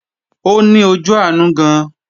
Ó ní ojú àánú gan-an